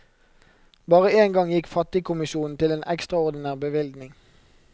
Bare en gang gikk fattigkommisjonen til en ekstraordinær bevilgning.